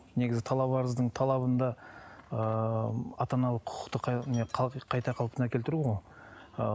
негізі талап арыздың талабында ыыы ата аналық құқықты не қайта қалпына келтіру ғой ыыы